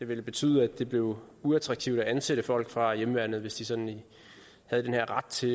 ville betyde at det blev uattraktivt at ansætte folk fra hjemmeværnet hvis de sådan havde den her ret til